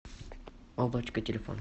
облачко телефон